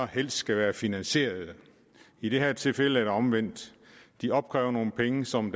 helst skal være finansierede i det her tilfælde er det omvendt de opkræver nogle penge som